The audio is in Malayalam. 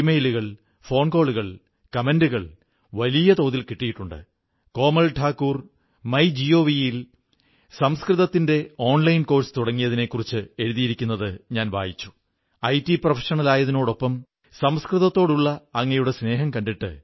മീലാദ് ഉണ്ട് ശരത് പൂർണ്ണിമയുണ്ട് വാല്മീകി ജയന്തിയുണ്ട് അതുകഴിഞ്ഞാൽ ധൻതേരസ് ദീപാവലി ഭായിദൂജ് ഛഠീ മൈയയുടെ പൂജ ഗുരുനാനക് ദേവ്ജിയുടെ ജയന്തിയുണ്ട് കൊറോണയുടെ ഈ വിപൽഘട്ടത്തിൽ നിയന്ത്രണങ്ങളോടെ വേണം എല്ലാം ആഘോഷിക്കാൻ പരിധികൾക്കുള്ളിൽ വേണം എല്ലാം